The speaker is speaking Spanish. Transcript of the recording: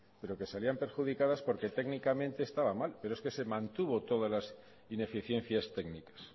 pero que salían perjudicadas porque técnicamente estaba mal pero es que se mantuvo todas las ineficiencias técnicas